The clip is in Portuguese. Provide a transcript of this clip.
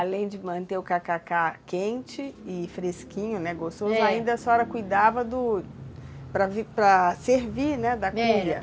Além de manter o tacacá quente e fresquinho, né, gostoso, é, ainda a senhora cuidava do... para para servir, né, da cuia.